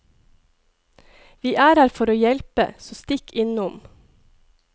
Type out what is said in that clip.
Vi er her for å hjelpe, så stikk innom.